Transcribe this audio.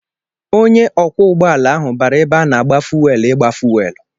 Ọnyá ugbọala ahụ bara ebe ana agba fuwelu ịgba fuwelu.